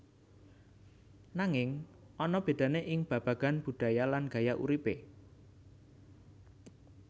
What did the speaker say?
Nanging ana bedane ing babagan budaya lan gaya uripe